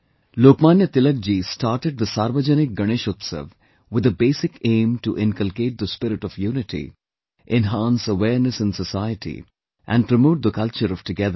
Lokmanya Tilak ji started the Sarvjanik Ganeshotsav with the basic aim to inculcate the spirit of unity, enhance awareness in society, and promote the culture of togetherness